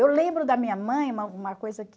Eu lembro da minha mãe uma uma coisa que...